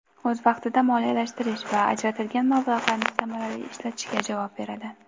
o‘z vaqtida moliyalashtirish va ajratilgan mablag‘larni samarali ishlatishga javob beradi.